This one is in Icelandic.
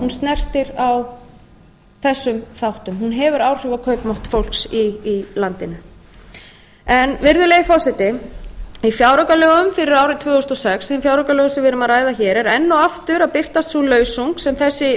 snertir á þessum þáttum hún hefur áhrif á kaupmátt fólks í landinu virðulegi forseti í fjáraukalögum fyrir árið tvö þúsund og sex þeim fjáraukalögum sem við erum að ræða hér er enn og aftur að birtast sú lausung sem þessi ríkisstjórn